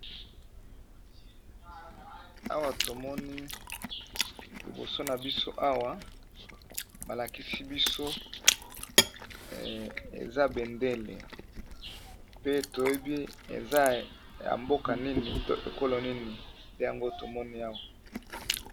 Awa tomoni liboso na biso awa ba lakisi biso eza bendele, pe toyebi eza ya mboka nini to ekolo nini te yango tomoni awa.